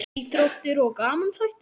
Íþróttir og gamanþættir